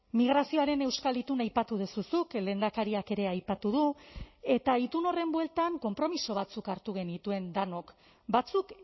migrazioaren euskal itun aipatu duzu zuk lehendakariak ere aipatu du eta itun horren bueltan konpromiso batzuk hartu genituen denok batzuk